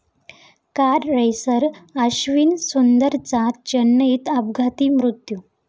car racer Ashwin सुंदरचा चेन्नईत अपघाती मृत्यू